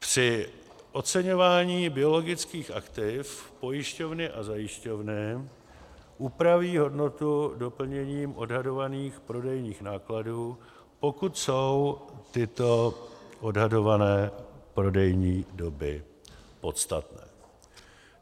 Při oceňování biologických aktiv pojišťovny a zajišťovny upraví hodnotu doplněním odhadovaných prodejních nákladů, pokud jsou tyto odhadované prodejní doby podstatné.